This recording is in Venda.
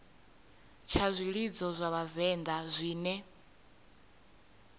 tsha zwilidzo zwa vhavenḓa zwine